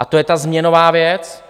A to je ta změnová věc.